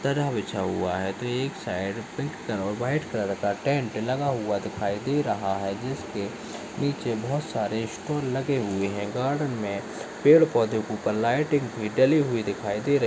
--तरह बिछा हुआ है तो एक साइड पिंक कलर और व्हाइट कलर का टेंट लगा हुआ दिखाई दे रहा है जिसके नीचे बहुत सारे स्टूल लगे हुए है गार्डन मे पेड़-पौधे के ऊपर लाइटिंग हुई डली हुई दिखाई दे रही है।